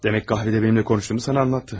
Demək qəhvədə mənimlə danışdığımı sənə danışdı.